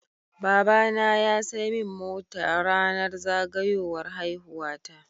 Baba na ya saimin mota rAnar zagayowar haihuwa ta